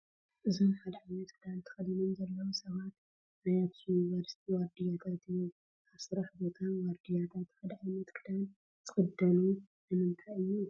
እዞም ሓደ ዓይነት ክዳን ተኸዲኖም ዘለዉ ሰባት ናይ ኣኽሱም ዩኒቨርሲቲ ዋርድያታት እዮም፡፡ ኣብ ስራሕ ቦታ ዋርድያታት ሓደ ዓይነት ክዳን ዝኽደኑ ንምንታይ እዩ?